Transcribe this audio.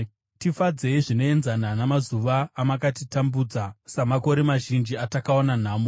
Tifadzei zvinoenzana namazuva amakatitambudza, samakore mazhinji atakaona nhamo.